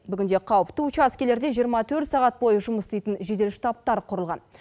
бүгінде қауіпті учаскелерде жиырма төрт сағат бойы жұмыс істейтін жедел штабтар құрылған